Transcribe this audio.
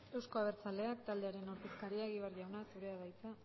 euzko abertzaleak taldearen ordezkaria egibar jauna zurea da hitza